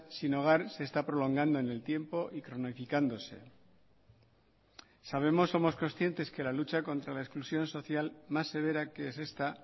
sin hogar se está prolongando en el tiempo y cronificándose sabemos somos conscientes que la lucha contra la exclusión social más severa que es esta